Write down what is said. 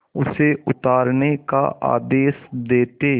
उसे उतारने का आदेश देते